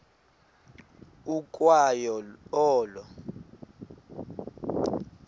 ukwa yo olo